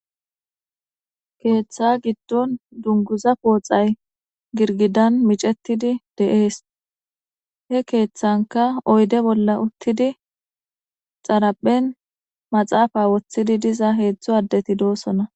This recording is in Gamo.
Keeththa giddon dunguza pooxay girgidan micetidi deees he keeththanka oyde bolla uttidi xaraphen maxaafa woththidi diza heedzdzu addeti doosona